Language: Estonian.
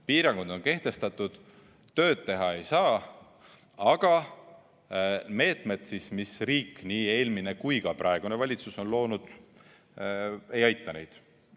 Piirangud on kehtestatud, tööd teha ei saa, aga meetmed, mis riik – nii eelmine kui ka praegune valitsus – on loonud, ei aita neid.